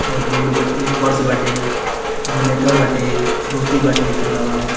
और बोर्ड बाटे ये फर्स बाटे जनरेटर बाटे चौकी बाटे इ कुल लागल --